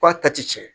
K'a ta tiɲɛn